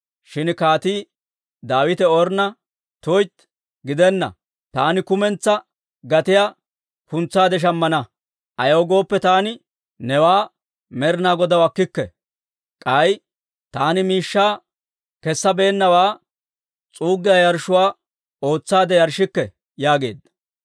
Shin Kaatii Daawite Ornna, «tuytti, chii! Taani kumentsaa gatiyaa k'ans's'aade shammana. Ayaw gooppe, taani nebaa Med'inaa Godaw akkikke; k'ay taani miishshaa kessabeennawaa s'uuggiyaa yarshshuwaa ootsaade yarshshikke» yaageedda.